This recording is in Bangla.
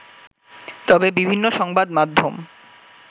তবে বিভিন্ন সংবাদ মাধ্যম